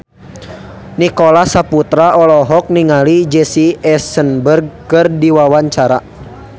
Nicholas Saputra olohok ningali Jesse Eisenberg keur diwawancara